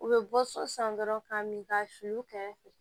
U bɛ bɔ so san dɔrɔn ka min ka su kɛrɛfɛ